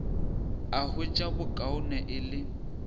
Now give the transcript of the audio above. a hwetša bokaone e le